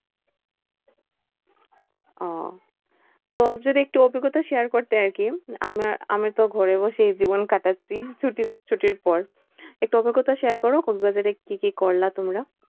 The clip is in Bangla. ওহ তো যদি একটু অভিজ্ঞতা share করতে আরকি? আমার আমি তো ঘরে বসেই জীবন কাটাচ্ছি ছুটির পর। একটু অভিজ্ঞতা share করো কক্সবাজারে কি কি করলে তোমরা?